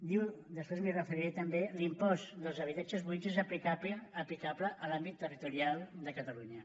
diu després m’hi referiré també l’impost dels habitatges buits és aplicable a l’àmbit territorial de catalunya